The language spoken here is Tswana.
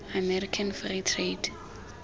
american free trade